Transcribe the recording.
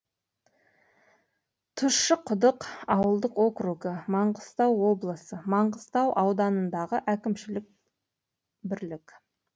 тұщықұдық ауылдық округі маңғыстау облысы маңғыстау ауданындағы әкімшілік бірлік